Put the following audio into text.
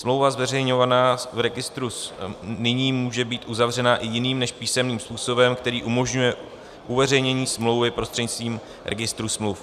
Smlouva zveřejňovaná v registru nyní může být uzavřena i jiným než písemným způsobem, který umožňuje uveřejnění smlouvy prostřednictvím registru smluv.